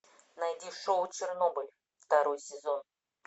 найди шоу чернобыль второй сезон